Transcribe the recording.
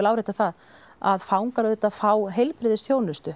árétta það að fangar auðvitað fá heilbrigðisþjónustu